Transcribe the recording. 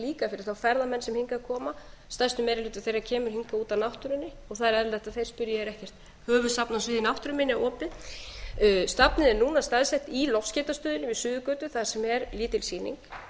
líka fyrir þá ferðamenn sem hingað koma stærstur meira hluti þeirra kemur hingað út af náttúrunni það er eðlilegt að þeir spyrji er ekkert höfuðsafn á sviði náttúruminja opið safnið er núna staðsett í loftskeytastöðinni við suðurgötu þar sem er lítil sýning